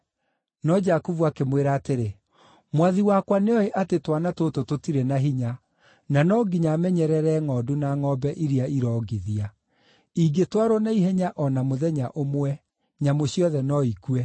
No Jakubu akĩmwĩra atĩrĩ, “Mwathi wakwa nĩoĩ atĩ twana tũtũ tũtirĩ na hinya, na no nginya menyerere ngʼondu na ngʼombe iria irongithia. Ingĩtwarwo na ihenya o na mũthenya ũmwe, nyamũ ciothe no ikue.